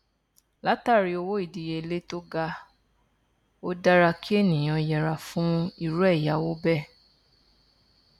látàrí owó ìdíyelé to ga ó dára kí ènìyàn yẹra fún irú ẹyáwó bẹẹ